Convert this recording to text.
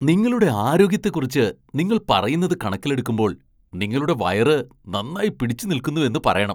നിങ്ങളുടെ ആരോഗ്യത്തെക്കുറിച്ച് നിങ്ങൾ പറയുന്നത് കണക്കിലെടുക്കുമ്പോൾ നിങ്ങളുടെ വയറ് നന്നായി പിടിച്ചുനിൽക്കുന്നുവെന്ന് പറയണം.